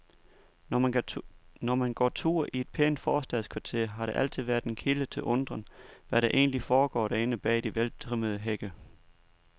Når man går tur i et pænt forstadskvarter, har det altid været en kilde til undren, hvad der egentlig foregår derinde bag de veltrimmede hække.